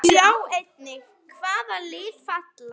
Sjá einnig: Hvaða lið falla?